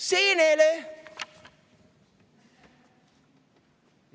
Seenele!